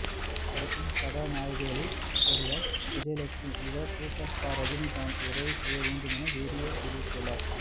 friends படத்தின் கதாநாயகிகளில் ஒருவர் விஜயலட்சுமி இவர் சூப்பர் ஸ்டார் ரஜினிகாந்த் உதவி செய்ய வேண்டுமென வீடியோ வெளியிட்டுள்ளார்